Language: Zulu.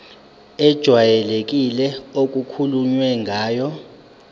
ejwayelekile okukhulunywe ngayo